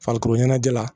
Farikolo ɲɛnajɛ la